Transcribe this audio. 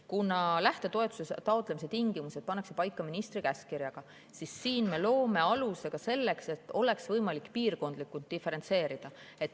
Kuna lähtetoetuse taotlemise tingimused pannakse paika ministri käskkirjaga, siis siin me loome aluse ka selleks, et oleks võimalik seda piirkondlikult diferentseerida.